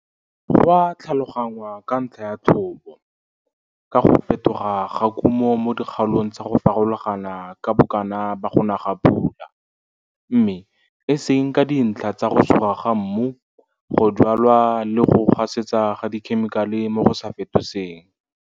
Go a tlhalogangwa ka ntlha ya thobo, ka go fetoga ga kumo mo dikgaolong tsa go farologana ka bokana ba go na ga pula, mme e seng ka dintlha tsa go suga mmu, go jwala le go gasetsa ga dikhemikale mo go sa fetoseng.